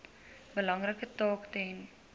belangrike taak ten